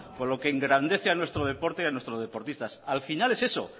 con lo que engrandece a nuestro deporte y a nuestros deportistas al final es eso